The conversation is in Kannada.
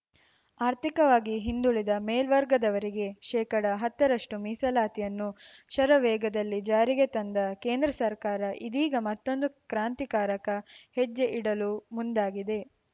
ಆರ್ಥಿಕವಾಗಿ ಹಿಂದುಳಿದ ಮೇಲ್ವರ್ಗದವರಿಗೆ ಶೇಕಡ ಹತ್ತರಷ್ಟುಮೀಸಲಾತಿಯನ್ನು ಶರವೇಗದಲ್ಲಿ ಜಾರಿಗೆ ತಂದ ಕೇಂದ್ರ ಸರ್ಕಾರ ಇದೀಗ ಮತ್ತೊಂದು ಕ್ರಾಂತಿಕಾರಕ ಹೆಜ್ಜೆ ಇಡಲು ಮುಂದಾಗಿದೆ